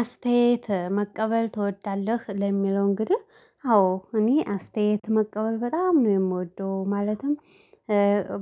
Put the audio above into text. አስተያየት መቀበል ትወዳለህ ለሚለው እንግዲህ አዎ እኔ አስተያየት መቀበል በጣም ነው የምወደው ማለትም።